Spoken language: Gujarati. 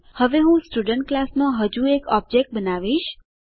હવે હું સ્ટુડન્ટ ક્લાસ નો હજુ એક ઓબજેક્ટ બનાવીશ